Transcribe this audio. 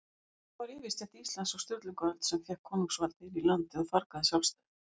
Það var yfirstétt Íslands á Sturlungaöld, sem fékk konungsvaldið inn í landið og fargaði sjálfstæðinu.